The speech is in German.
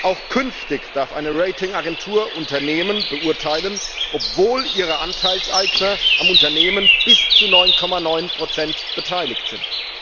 Auch künftig darf eine Ratingagentur Unternehmen beurteilen, obwohl ihre Anteilseigner am Unternehmen bis zu 9,9 beteiligt sind.